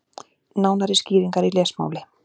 Nánari skýringar í lesmáli.